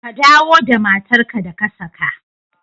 Ka dawo da matar ka da ka saka!